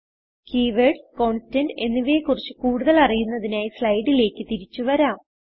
keywords constant എന്നിവയെ കുറിച്ച് കൂടുതൽ അറിയുന്നതിനായി സ്ലൈഡിലേക്ക് തിരിച്ചു വരാം